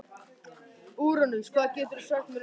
Úranus, hvað geturðu sagt mér um veðrið?